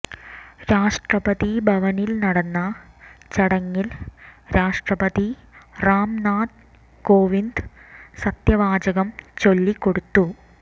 രാഷ്ട്രപതിഭവനിൽ നടന്ന ചടങ്ങിൽ രാഷ്ട്രപതി റാംനാഥ് കോവിന്ദ് സത്യവാചകം ചൊല്ലി കൊടുത്തു